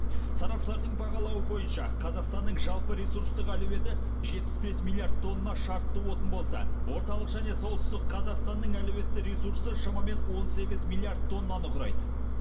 сарапшылардың бағалауы бойынша қазақстанның жалпы ресурстық әлеуеті тонна шартты отын болса орталық және солтүстік қазақстанның әлеуетті ресурсы шамамен тоннаны құрайды